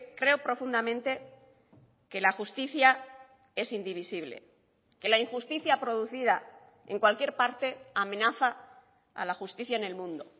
creo profundamente que la justicia es indivisible que la injusticia producida en cualquier parte amenaza a la justicia en el mundo